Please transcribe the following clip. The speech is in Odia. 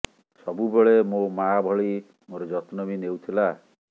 ସବୁବେଳେ ମୋ ମାଆ ଭଳି ମୋର ଯତ୍ନ ବି ନେଉଥିଲା